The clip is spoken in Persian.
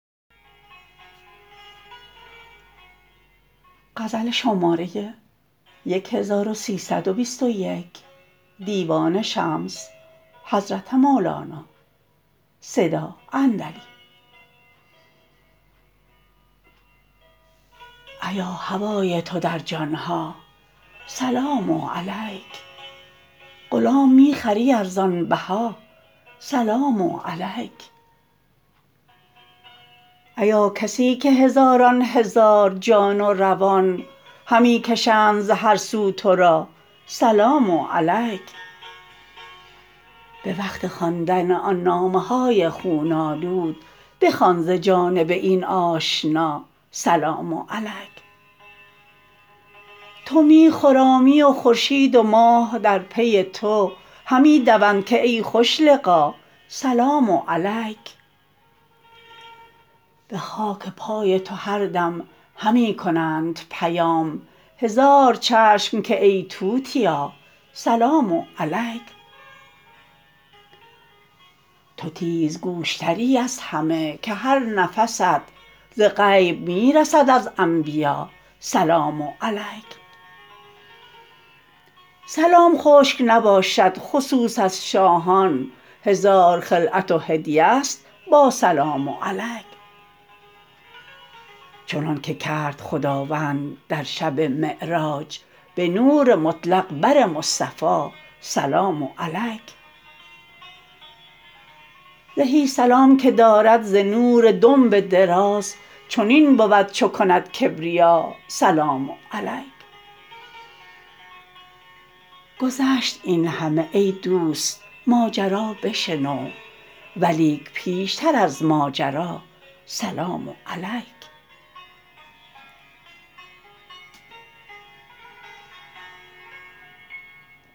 ایا هوای تو در جان ها سلام علیک غلام می خری ارزان بها سلام علیک ایا کسی که هزاران هزار جان و روان همی کشند ز هر سو تو را سلام علیک به وقت خواندن آن نامه های خون آلود بخوان ز جانب این آشنا سلام علیک تو می خرامی و خورشید و ماه در پی تو همی دوند که ای خوش لقا سلام علیک به خاک پای تو هر دم همی کنند پیغام هزار چشم که ای توتیا سلام علیک تو تیزگوش تری از همه که هر نفست ز غیب می رسد از انبیا سلام علیک سلام خشک نباشد خصوص از شاهان هزار خلعت و هدیه ست با سلام علیک چنانک کرد خداوند در شب معراج به نور مطلق بر مصطفی سلام علیک زهی سلام که دارد ز نور دنب دراز چنین بود چو کند کبریا سلام علیک گذشت این همه ای دوست ماجرا بشنو ولیک پیشتر از ماجرا سلام علیک